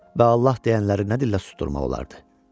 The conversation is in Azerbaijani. Və Allah deyənləri nə dillə susdurmaq olardı?